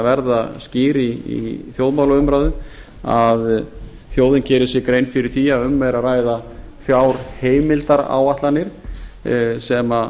verða skýr í þjóðmálaumræðu að þjóðin geri sér grein fyrir því að um er að ræða fjárheimildaráætlanir sem